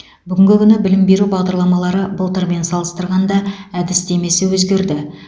бүгінгі күні білім беру бағдарламалары былтырмен салыстырғанда әдістемесі өзгерді